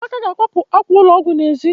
Amaka ga-akwapụ àkwà ụlọ ọgwụ n'èzí